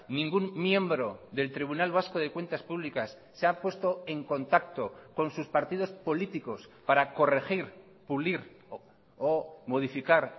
ningún miembro del tribunal vasco de cuentas públicas se ha puesto en contacto con sus partidos políticos para corregir pulir o modificar